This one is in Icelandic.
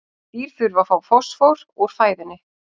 Dýr þurfa að fá fosfór úr fæðunni.